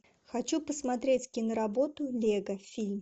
хочу посмотреть киноработу лего фильм